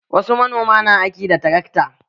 Wasu manoman na aiki da tarakta.